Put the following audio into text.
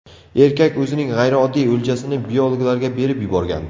Erkak o‘zining g‘ayrioddiy o‘ljasini biologlarga berib yuborgan.